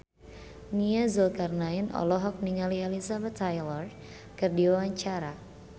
Nia Zulkarnaen olohok ningali Elizabeth Taylor keur diwawancara